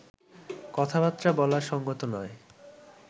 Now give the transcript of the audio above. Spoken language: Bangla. কথাবার্তা বলা সঙ্গত নয়